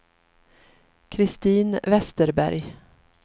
Kristin Vesterberg